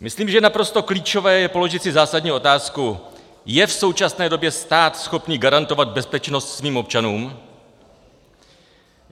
Myslím, že naprosto klíčové je položit si zásadní otázku: je v současné době stát schopen garantovat bezpečnost svým občanům?